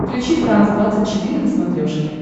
включи франс двадцать четыре на смотрешке